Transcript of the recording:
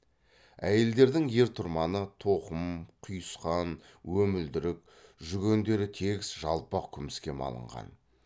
әйелдердің ер тұрманы тоқым құйысқан өмілдірік жүгендері тегіс жалпақ күміске малынған